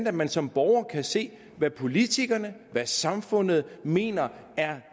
at man som borger kan se hvad politikerne hvad samfundet mener er